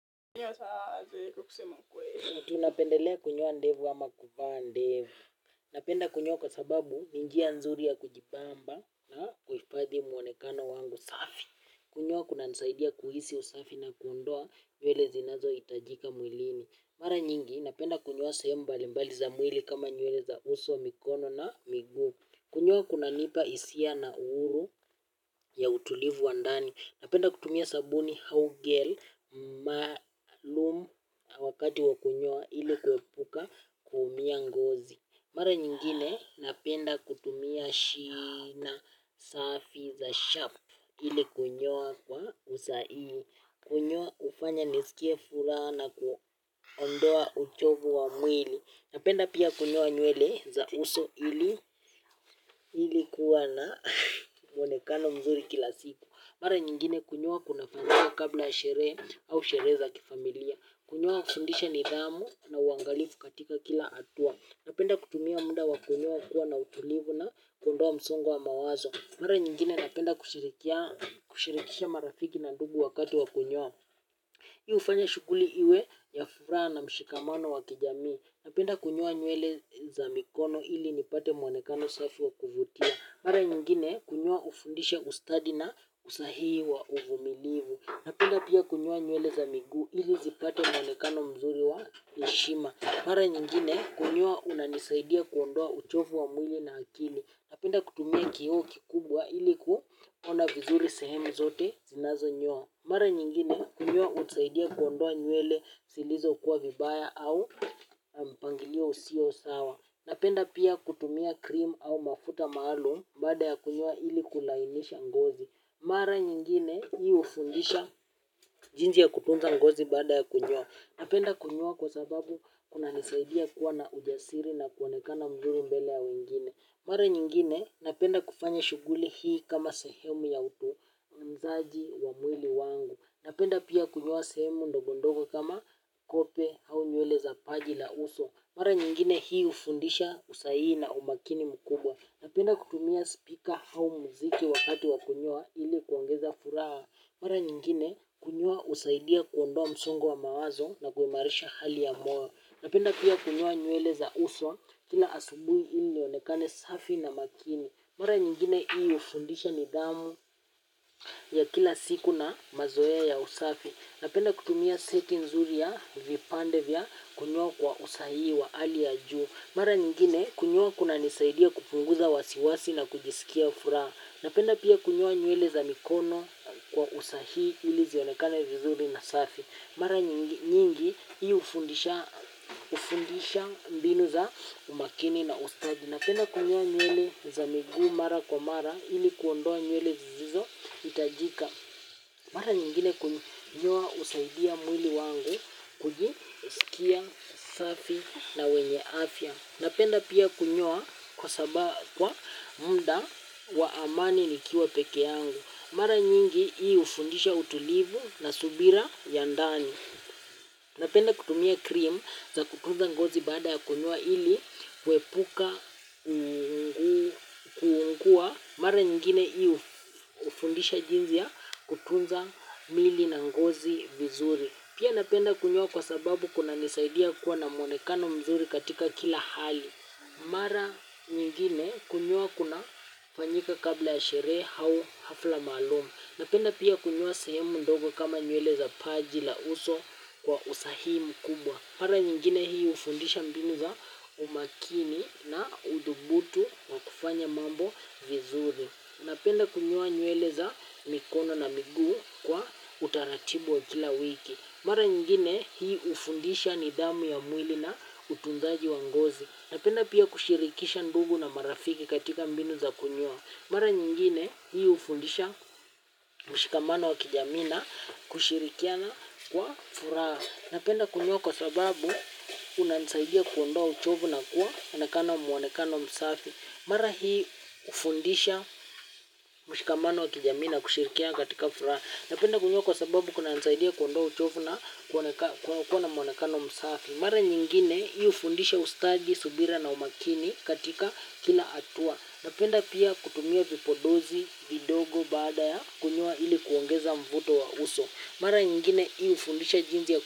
Mtu napendelea kunyoa ndevu ama kuvaa ndevu. Napenda kunyoa kwa sababu ni njia nzuri ya kujibamba na kuhifathi mwonekano wangu safi. Kunyoa kunanisaidia kuhisi usafi na kuondoa nywele zinazohitajika mwilini. Mara nyingi, napenda kunyoa sehemu mbali mbali za mwili kama nywele za uso mikono na miguu. Kunyoa kunanipa hisia na uhuru ya utulivu wa ndani. Napenda kutumia sabuni au gel maalum wakati wa kunyoa ili kuepuka kuumia ngozi. Mara nyingine napenda kutumia shina safi za sharp ili kunyoa kwa usahihi. Kunyoa hufanya nisikie furaha na kuondoa uchovu wa mwili. Napenda pia kunyoa nywele za uso ili kuwa na mwonekano mzuri kila siku. Mara nyingine kunyoa kunafanyangwa kabla ya sherehe au sherehe za kifamilia. Kunyoa hufundisha nidhamu na uangalifu katika kila hatua. Napenda kutumia muda wa kunyoa kuwa na utulivu na kuondoa msongo wa mawazo. Mara nyingine napenda kushirikisha marafiki na ndugu wakati wa kunyoa. Hii hufanya shughuli iwe ya furaha na mshikamano wa kijamii. Napenda kunyoa nywele za mikono ili nipate mwonekano safi wa kuvutia. Mara nyingine kunyoa hufundisha ustadi na usahihi wa uvumilivu. Napenda pia kunyoa nywele za miguu, ili zipate mwonekano mzuri wa heshima. Mara nyingine kunyoa unanisaidia kuondoa uchovu wa mwili na akili. Napenda kutumia kio kikubwa ili kuona vizuri sehemu zote zinazonyoa. Mara nyingine kunyoa hunisaidia kuondoa nywele silizokuwa vibaya au na mpangilio usio sawa. Napenda pia kutumia cream au mafuta maalum baada ya kunyoa ili kulainisha ngozi. Mara nyingine hii hufundisha jinsi ya kutunza ngozi baada ya kunyoa. Napenda kunyoa kwa sababu kunanisaidia kuwa na ujasiri na kuonekana mzuri mbele ya wengine. Mara nyingine napenda kufanya shughuli hii kama sehemu ya utunzaji wa mwili wangu. Napenda pia kunyoa sehemu ndogondogo kama kope au nywele za paji la uso. Mara nyingine hii hufundisha usahihi na umakini mkubwa. Napenda kutumia speaker au mziki wakati wa kunyoa ili kuongeza furaha. Mara nyingine kunyoa husaidia kuondoa msongo wa mawazo na kuimarisha hali ya moyo. Napenda pia kunyoa nywele za uso kila asubuhi nionekane safi na makini. Mara nyingine hii hufundisha nidhamu ya kila siku na mazoea ya usafi. Napenda kutumia seti nzuri ya vipande vya kunyoa kwa usahihi wa hali ya juu. Mara nyingine kunyoa kunanisaidia kupunguza wasiwasi na kujisikia furaha. Napenda pia kunyoa nywele za mikono kwa usahihi ili zionekani vizuri na safi. Mara nyingi hii hufundisha mbinu za umakini na ustadi. Napenda kunyoa nywele za miguu mara kwa mara ili kuondoa nywele sisizohitajika. Mara nyingine kunyoa husaidia mwili wangu kujisikia safi na wenye afya. Napenda pia kunyoa kwa muda wa amani nikiwa pekee yangu. Mara nyingi hii hufundisha utulivu na subira ya ndani. Napenda kutumia cream za kutunza ngozi baada ya kunyoa ili kuepuka mara nyingine hii hufindisha jinsi ya kutunza mili na ngozi vizuri. Pia napenda kunyoa kwa sababu kunanisaidia kuwa na mwonekano mzuri katika kila hali. Mara nyingine kunyoa kunafanyika kabla ya sherehe au hafla maalamu. Napenda pia kunyoa sehemu ndogo kama nywele za paji la uso kwa usahihi mkubwa. Mara nyingine hii hufundisha mbinu za umakini na uthubutu wa kufanya mambo vizuri. Napenda kunyoa nywele za mikono na miguu kwa utaratibu wa kila wiki. Nyingine hii hufundisha nidhamu ya mwili na utunzaji wa ngozi. Napenda pia kushirikisha ndugu na marafiki katika mbinu za kunyoa. Mara nyingine hii hufundisha mshikamano wa kijamii na kushirikiana kwa furaha. Napenda kunyoa kwa sababu kunansaidia kuondoa uchovu na kuwa na mwonekano msafi. Mara hii hufundisha mshikamano wa kijamii na kushirikiana katika furaha. Napenda kunyoa kwa sababu kunanisaidia kuondoa uchovu na kuwa na mwonekano msafi. Mara nyingine hii hufundisha ustadi, subira na umakini katika kina hatua. Napenda pia kutumia vipodozi vidogo baada ya kunyoa ili kuongeza mvuto wa uso, mara nyingine hii hufundisha jinsi ya.